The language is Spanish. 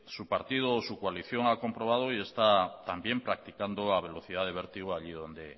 su partido su coalición ha comprobado y está también practicando a velocidad de vértigo allí donde